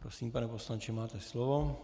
Prosím, pane poslanče, máte slovo.